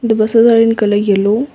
the buses are in colour yellow.